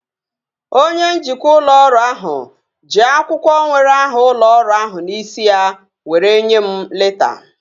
Onye njikwa ụlọ ọrụ ahụ ji akwụkwọ nwere aha ụlọ ọrụ ahụ n'isi ya were nyee m leta